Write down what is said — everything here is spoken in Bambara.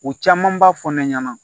U caman b'a fɔ ne ɲɛna